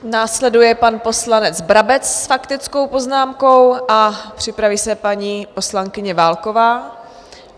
Následuje pan poslanec Brabec s faktickou poznámkou a připraví se paní poslankyně Válková.